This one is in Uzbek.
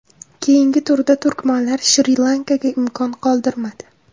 Keyingi turda turkmanlar Shri-Lankaga imkon qoldirmadi.